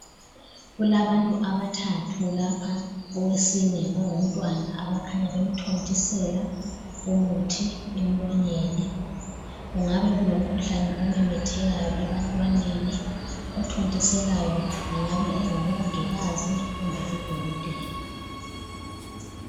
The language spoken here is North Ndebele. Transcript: Kulabantu abathathu lapha owesine ngongumntwana abakhanya bemthontisela umuthi emlonyeni. Kungabe kulomkhuhlane omemethekayo ebantwaneni, othontiselayo engabe engumongikazi kumbe udokotela.